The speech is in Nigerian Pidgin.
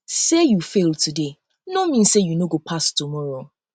um sey um you fail today no mean sey you no go pass tomorrow pass tomorrow